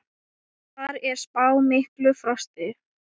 Þar er spáð miklu frosti.